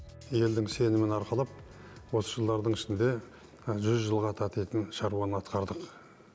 елдің сенімін арқалап осы жылдардың ішінде жүз жылға татитын шаруаны атқардық